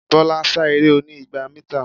Bọ́lá sá eré oní igba mítà.